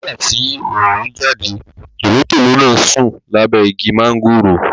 Nígbà tí oòrùn jáde, tòlótòló náà sùn lábẹ́ igi mọ́ńgòrò